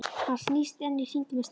Hann snýst enn í hringi með steininn.